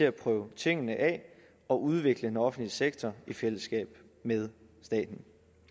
at prøve tingene af og udvikle den offentlige sektor i fællesskab med staten